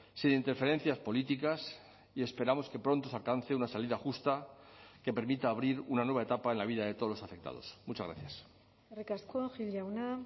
sin interferencias políticas y esperamos que pronto se alcance una salida justa que permita abrir una nueva etapa en la vida de todos los afectados muchas gracias eskerrik asko gil jauna